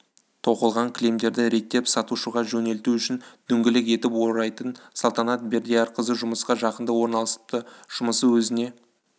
тоқылған кілемдерді реттеп сатушыға жөнелту үшін дөңгелек етіп орайтын салтанат бердиярқызы жұмысқа жақында орналасыпты жұмысы өзіне